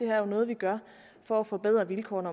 er noget vi gør for at forbedre vilkårene